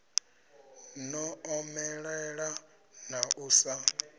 no omelela na u sa